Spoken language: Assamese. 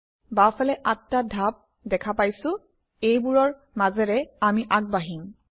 বাওঁফালে আঠটা ধাপ দেখা পাইছোঁ এইবোৰৰ মাজেৰে আমি আগবাঢ়িম